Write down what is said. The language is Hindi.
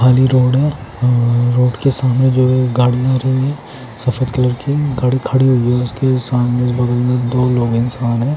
खाली रोड है रोड के सामने जो एक गाड़ी आ रही है सफ़ेद कलर की गाड़ी खड़ी हुई है इसके सामने बगल में दो रोड है सामने--